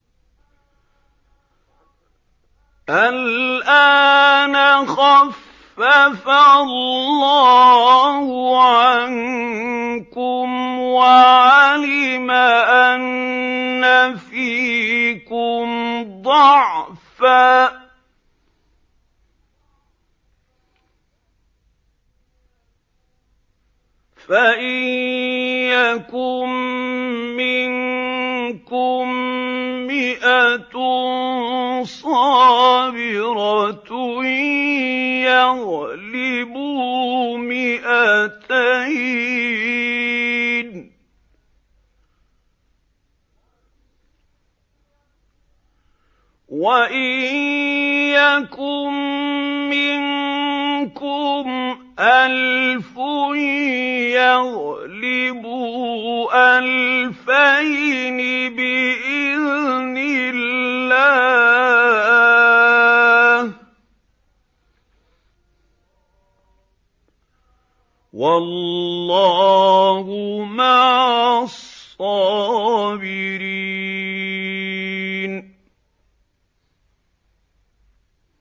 الْآنَ خَفَّفَ اللَّهُ عَنكُمْ وَعَلِمَ أَنَّ فِيكُمْ ضَعْفًا ۚ فَإِن يَكُن مِّنكُم مِّائَةٌ صَابِرَةٌ يَغْلِبُوا مِائَتَيْنِ ۚ وَإِن يَكُن مِّنكُمْ أَلْفٌ يَغْلِبُوا أَلْفَيْنِ بِإِذْنِ اللَّهِ ۗ وَاللَّهُ مَعَ الصَّابِرِينَ